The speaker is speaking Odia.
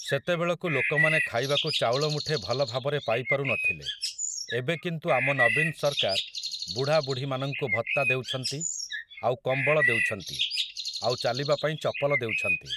ସେତେବଳକୁ ଲୋକମାନେ ଖାଇବାକୁ ଚାଉଳ ମୁଠେ ଭଲ ଭାବରେ ପାଇପାରୁନଥିଲେ ଏବେ କିନ୍ତୁ ଆମ ନବୀନ ସରକାର ବୁଢ଼ା ବୁଢ଼ୀମାନଙ୍କୁ ଭତ୍ତା ଦେଉଛନ୍ତି ଆଉ କମ୍ବଳ ଦେଉଛନ୍ତି ଆଉ ଚାଲିବା ପାଇଁ ଚପଲ ଦେଉଛନ୍ତି ।